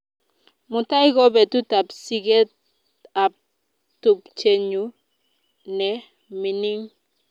Mutai ko petut ap siget ap tupchennyu ne mining'